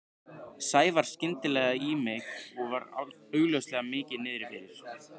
Sævar skyndilega í mig og var augljóslega mikið niðri fyrir.